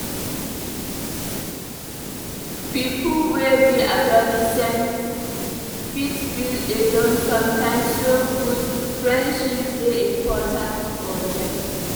Pipo wey be adolescents fit feel alone sometimes so good friendships dey important for dem.